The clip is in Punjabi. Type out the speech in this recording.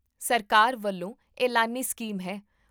ਸਰਕਾਰ ਵੱਲੋਂ ਐਲਾਨੀ ਸਕੀਮ ਹੈ